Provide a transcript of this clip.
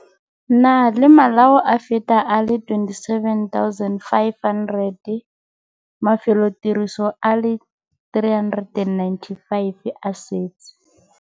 Na le malao a feta a le 27 500. Mafelotiriso a le 395 a setse.